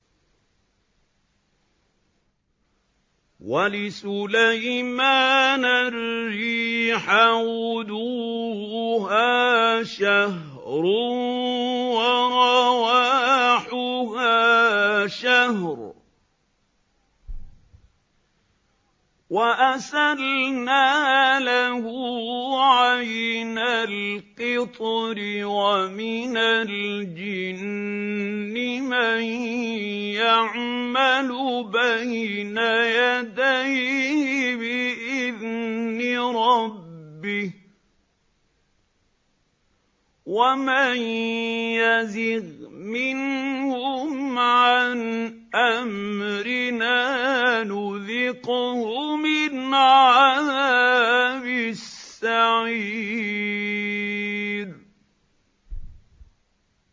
وَلِسُلَيْمَانَ الرِّيحَ غُدُوُّهَا شَهْرٌ وَرَوَاحُهَا شَهْرٌ ۖ وَأَسَلْنَا لَهُ عَيْنَ الْقِطْرِ ۖ وَمِنَ الْجِنِّ مَن يَعْمَلُ بَيْنَ يَدَيْهِ بِإِذْنِ رَبِّهِ ۖ وَمَن يَزِغْ مِنْهُمْ عَنْ أَمْرِنَا نُذِقْهُ مِنْ عَذَابِ السَّعِيرِ